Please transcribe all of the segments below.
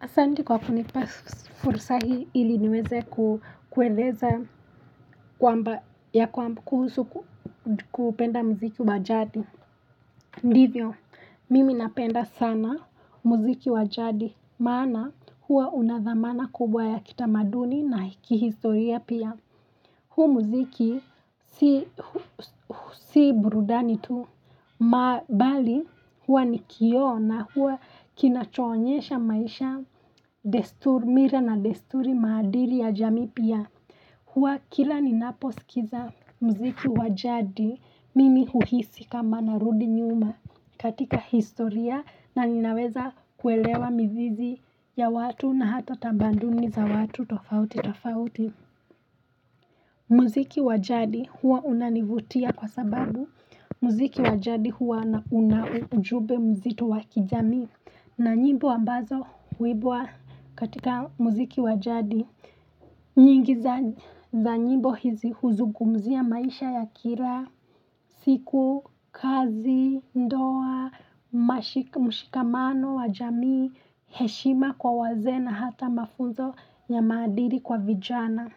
Asante kwa kunipa fursa hii ili niweze kueleza kwamba ya kuhusu kupenda muziki wajadi. Ndivyo, mimi napenda sana muziki wajadi. Maana huwa unadhamana kubwa ya kitamaduni na kihistoria pia. Hu mziki si burudani tu, mabali huwa ni kioo na huwa kinachonyesha maisha, desturi mila na desturi madili ya jamii pia. Huwa kila ninaposikiza mziki wajadi mimi huhisi kama narudi nyuma katika historia na ninaweza kuelewa mzizi ya watu na hata tambanduni za watu tofauti tofauti. Muziki wajadi huwa unanivutia kwa sababu. Muziki wajadi huwa na una ujumbe mzito wa kijamii. Na nyimbo ambazo huimbwa katika muziki wajadi. Nyingi za nyimbo hizi huzugumzia maisha ya kila, siku, kazi, ndoa, mushikamano, wajami, heshima kwa wazee na hata mafunzo ya maadili kwa vijana.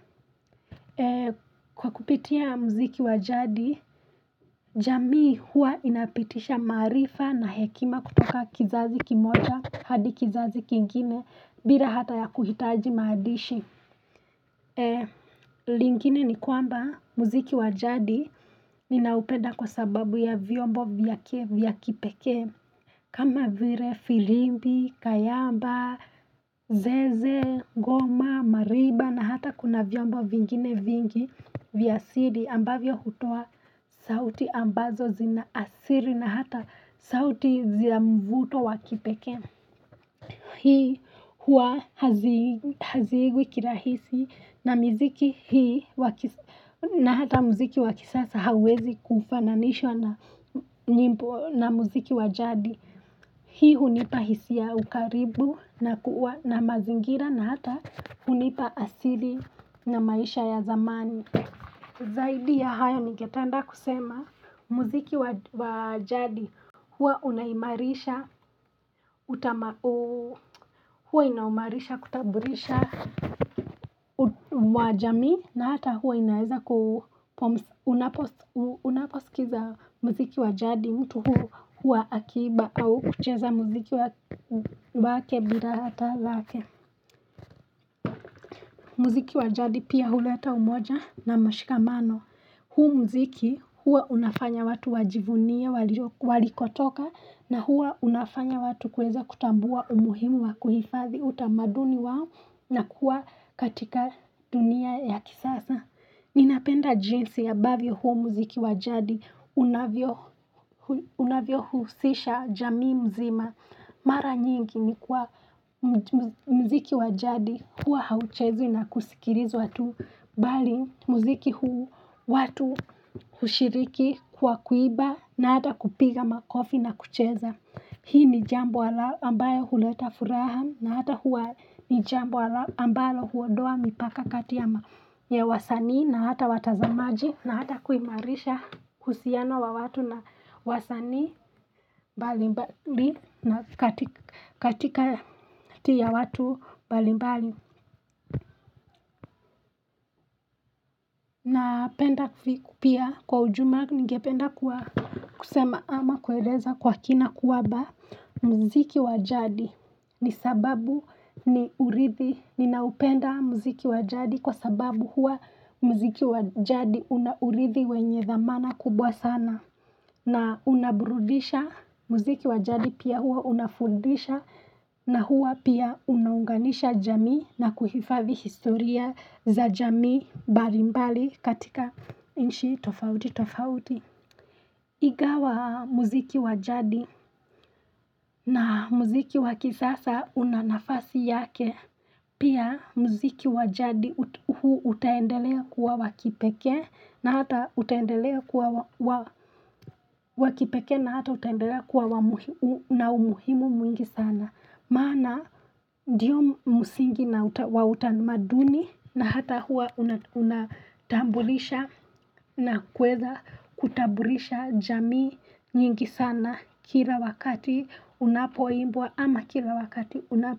Kwa kupitia muziki wajadi, jamii hua inapitisha marifa na hekima kutoka kizazi kimoja, hadi kizazi kingine, bila hata ya kuhitaji maandishi E, lingine ni kwamba muziki wajadi ninaupenda kwa sababu ya vyombo vyake vya kipekee kama vile, filimbi, kayamba, zeze, ngoma, mariba na hata kuna vyombo vingine vingi vya asili ambavyo hutoa sauti ambazo zina asili na hata sauti za mvuto wa kipekee Hii hua haziigwi kirahisi na muziki hii na hata muziki wakisasa haiwezi kufananishwa na muziki wajadi. Hii hunipa hisi ya ukaribu na mazingira na hata hunipa asili na maisha ya zamani. Zaidi ya hayo ningependa kusema muziki wajadi hua unaimarisha kutambulisha wajami na hata hua inaeza unaposikiza muziki wajadi mtu hua akiimba au kucheza muziki wake bila hata lake. Muziki wajadi pia huleta umoja na mashikamano. Huu muziki huwa unafanya watu wajivunie walikotoka na hua unafanya watu kuweza kutambua umuhimu wa kuhifadhi utamaduni wao na kuwa katika dunia ya kisasa. Ninapenda jinsi ambavyo huu muziki wajadi unavyo husisha jamii mzima. Mara nyingi ni kwa mziki wajadi huwa hauchezwi na kusikilizwa tu bali mziki huu watu hushiriki kwa kuimba na hata kupiga makofi na kucheza Hii ni jambo ambayo huleta furaha na hata huwa ni jambo ambayo huondoa mipaka kati ya wasani na hata watazamaji na hata kuimarisha husiano wa watu na wasanii balimbali na katika ya watu balimbali na penda pia kwa ujumla ningependa kusema ama kuwaeleza kwa kina kwamba muziki wajadi ni sababu ni uridhi ni naupenda muziki wajadi kwa sababu hua muziki wajadi una uridhi wenye dhamana kubwa sana na unaburudisha muziki wajadi pia hua unafundisha na hua pia unaunganisha jamii na kuhifadhi historia za jamii mbali mbali katika nchi tofauti tofauti. Ingawa muziki wajadi na muziki wa kisasa una nafasi yake. Pia muziki wajadi huu utaendelea kuwa wa kipekee na hata utaendelea kuwa wakipekee na hata utaendelea kuwa na umuhimu mwingi sana. Maana ndiyo msingi na wa utanumaduni na hata huwa unatambulisha na kuweza kutambulisha jamii nyingi sana kila wakati unapoimbwa ama kila wakati unapoimbwa.